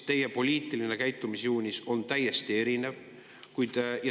Teie poliitiline käitumisjoonis on täiesti erinev.